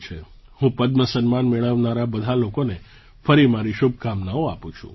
હું પદ્મ સન્માન મેળવનારા બધા લોકોને ફરી મારી શુભકામનાઓ આપું છું